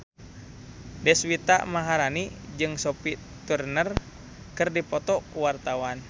Deswita Maharani jeung Sophie Turner keur dipoto ku wartawan